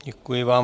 Děkuji vám.